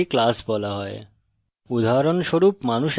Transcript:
প্রতিটি শ্রেণীকে একটি class বলা হয়